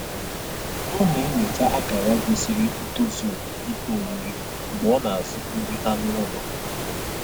Ọ na-enyocha akara gosiri ntozuoke ihe oriri mgbe ọ na-azụ nri anụ ụlọ